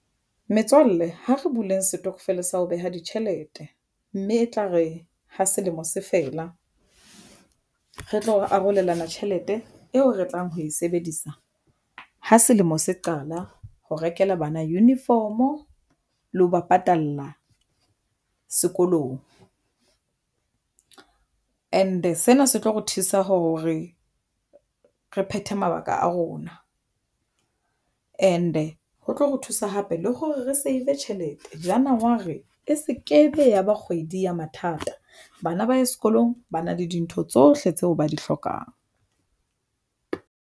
Metswalle ha re bule setokofela sa ho beha ditjhelete, mme e tla re ha selemo se fela re tlo arolelana tjhelete eo re tlang ho e sebedisa ha selemo se qala ho rekela bana uniform-o le ho ba patalla sekolong and-e sena se tlo re thusa hore re phethe mabaka a rona and-e ho tlo ho thusa hape le hore re save tjhelete Janawari e se ke be ya ba kgwedi ya mathata. Bana ba ye sekolong ba na le dintho tsohle tseo ba di hlokang.